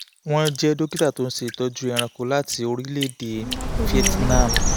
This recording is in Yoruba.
wọ́n jẹ́ dókítà tó ń ṣe ìtọ́jú ẹranko láti orílẹ̀-èdè vietnam